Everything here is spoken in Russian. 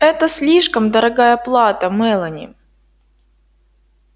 это слишком дорогая плата мелани